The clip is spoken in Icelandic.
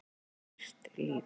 Hýrt líf